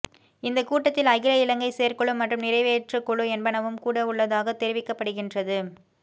இந்த கூட்டத்தில் அகில இலங்கை செயற்குழு மற்றும் நிறைவேற்றுக் குழு என்பனவும் கூடவுள்ளதாக தெரிவிக்கப்படுகின்றது